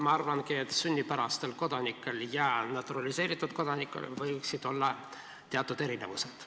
Ma arvangi, et sünnipärastel kodanikel ja naturaliseeritud kodanikel võiksid olla teatud erinevused.